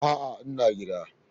A'a, ina gida.